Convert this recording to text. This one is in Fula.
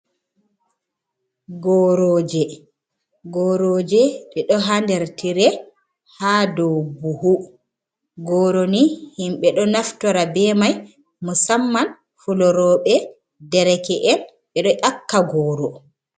Goroji, Goroji ɗe ɗo ha nɗer tire ha do buhu, goro ni himbe do naftora be mai musamman fulorobe, dereke’en, be do yaka goro.